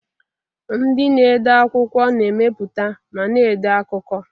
Ndị na-ede akwụkwọ na-emepụta ma na-ede akụkọ.